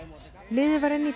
liðið var inni í